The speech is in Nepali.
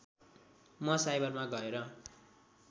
म साइबरमा गएर